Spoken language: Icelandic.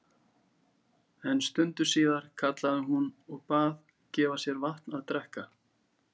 Þótt þú hafir sem betur fer látið laglega á sjá síðan um árið.